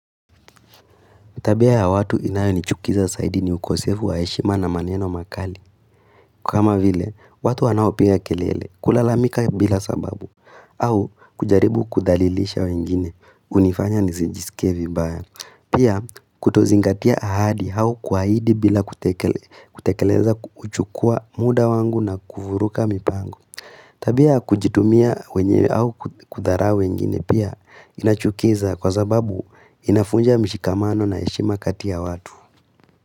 Tabia ya watu inayo nichukiza saidi ni ukosevu wa heshima na maneno makali kama vile, watu wanaopiga kelele, kulalamika bila sababu au, kujaribu kudhalilisha wengine, hunifanya nizijisikie vi baya Pia, kutozingatia ahadi au kwaidi bila kutekeleza huchukua muda wangu na kufuruka mipangu Tabia, kujitumia wengine au kudharau wengine pia inachukiza kwa zababu inafunja mshikamano na heshima kati ya watu.